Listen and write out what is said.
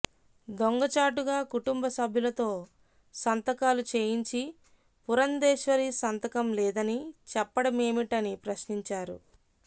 దొంగచాటుగా కుటుంబ సభ్యులతో సంతకాలు చేయించి పురంధేశ్వరి సంతకం లేదని చెప్పడమేమిటని ప్రశ్నించారు